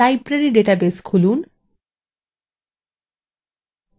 library database খুলুন